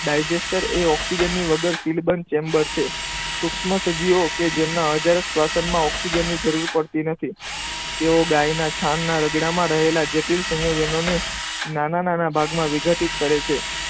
Digester એ ઓક્સિજનની વગર શીલ બંધ ચેમ્બર છે. સૂક્ષ્મ સજીવો કે જેમના અજારક શ્વસનમાં ઓક્સિજનની જરૂર પડતી નથી. તેઓ ગાયના છાણના રગડામાં રહેલા જે સંયોજનોની નાના નાના ભાગમાં વિઘટિત કરે છે.